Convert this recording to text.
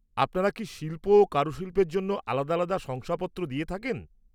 আপনারা কি শিল্প ও কারুশিল্পের জন্য আলাদা আলাদা শংসাপত্র দিয়ে থাকেন?